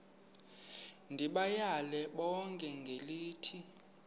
ndibayale bonke ngelithi